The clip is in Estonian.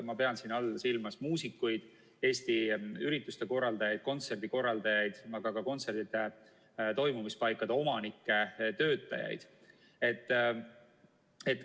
Ma pean siin silmas muusikuid, ürituste korraldajaid, kontserdikorraldajaid, aga ka kontsertide toimumispaikade omanikke ja töötajaid.